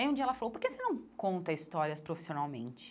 Aí um dia ela falou, por que você não conta histórias profissionalmente?